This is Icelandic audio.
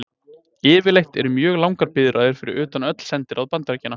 Yfirleitt eru mjög langar biðraðir fyrir utan öll sendiráð Bandaríkjanna.